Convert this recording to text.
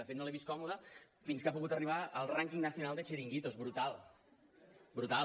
de fet no l’he vist còmoda fins que ha pogut arribar al ranking nacional de chiringuitos brutal brutal